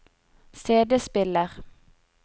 CD-spiller